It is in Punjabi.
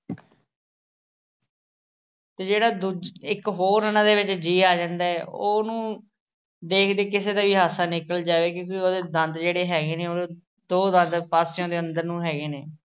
ਤੇ ਜਿਹੜਾ ਦੂਜਾ ਅਹ ਇੱਕ ਹੋਰ ਉਹਨਾਂ ਦੇ ਵਿੱਚ ਜੀਅ ਆ ਜਾਂਦਾ, ਉਹਨੂੰ ਦੇਖ ਕੇ ਕਿਸੇ ਦਾ ਵੀ ਹਾਸਾ ਨਿਕਲ ਜਾਵੇ, ਕਿਉਂਕਿ ਉਹਦੇ ਦੰਦ ਜਿਹੜੇ ਹੈਗੇ ਨੇ ਉਹ ਦੋ ਅਹ ਦੰਦ ਪਾਸਿਆਂ ਤੋਂ ਅੰਦਰ ਨੂੰ ਹੈਗੇ ਨੇ